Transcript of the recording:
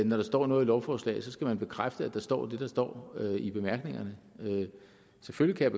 når der står noget i lovforslaget så skal bekræfte at der står det der står i bemærkningerne selvfølgelig kan